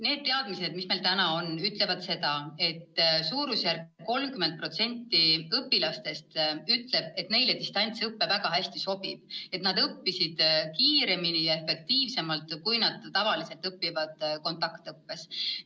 Nende teadmiste kohaselt, mis meil täna on, ütleb suurusjärgus 30% õpilastest, et neile distantsõpe väga hästi sobib, et nad on õppinud kiiremini ja efektiivsemalt, kui nad tavaliselt kontaktõppes õpivad.